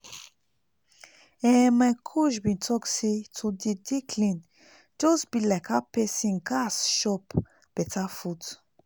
ehn my coach bin talk say to dey dey clean just bi like how pesin gas chop beta food